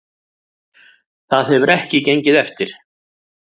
Það hefur ekki gengið eftir